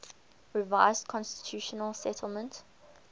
revised constitutional settlement